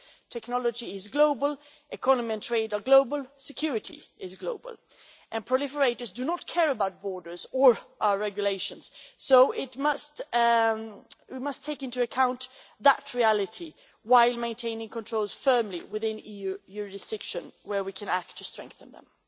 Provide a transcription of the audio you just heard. Technology is global, economy and trade are global, security is global, and proliferators do not care about borders or our regulations, so we must take into account that reality while maintaining control firmly within EU jurisdiction where we can act to strengthen them.